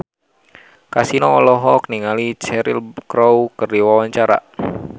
Kasino olohok ningali Cheryl Crow keur diwawancara